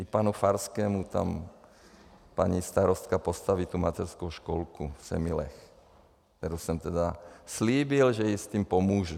I panu Farskému tam paní starostka postaví tu mateřskou školku v Semilech, kterou jsem teda slíbil, že jí s tím pomůžu.